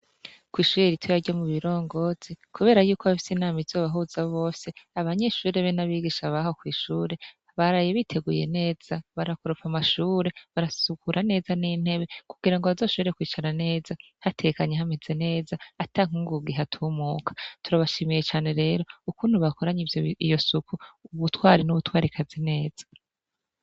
Kw'ishure ritoyi ryo mubirongozi kubera yuko bafise inama izobahuza bose abanyeshure be nabigisha baho kw'ishure baraye biteguye neza barakoropa amashure barasukura neza n'intebe kugira bazoshobore kwicara neza hatekanye hameze neza ata nkugugu ihatumuka, turabashimiye cane rero ukuntu bakoranye iyo suku ubutware nubutwarekazi neza.